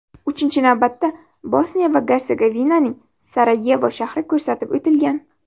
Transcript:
Uchinchi navbatda Bosniya va Gersegovinaning Sarayevo shahri ko‘rsatib o‘tilgan.